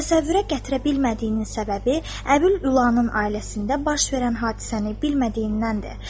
Təsəvvürə gətirə bilmədiyinin səbəbi Əbül Ülanın ailəsində baş verən hadisəni bilmədiyindənir.